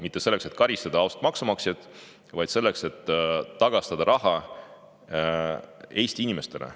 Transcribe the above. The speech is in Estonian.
Mitte selleks, et karistada ausat maksumaksjat, vaid selleks, et tagastada raha Eesti inimestele.